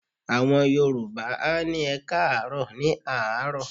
Àwọn Yorùbá á ní "ẹkáàárọ̀" ní àárọ̀.